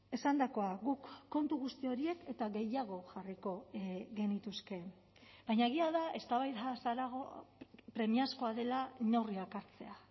esandakoa guk kontu guzti horiek eta gehiago jarriko genituzke baina egia da eztabaidaz harago premiazkoa dela neurriak hartzea